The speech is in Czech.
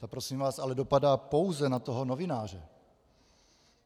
To prosím vás ale dopadá pouze na toho novináře.